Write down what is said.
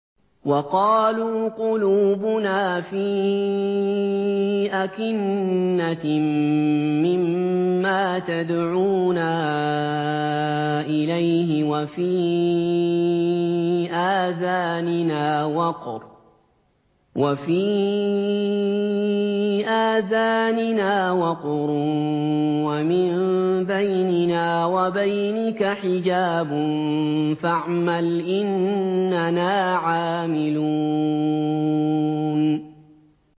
وَقَالُوا قُلُوبُنَا فِي أَكِنَّةٍ مِّمَّا تَدْعُونَا إِلَيْهِ وَفِي آذَانِنَا وَقْرٌ وَمِن بَيْنِنَا وَبَيْنِكَ حِجَابٌ فَاعْمَلْ إِنَّنَا عَامِلُونَ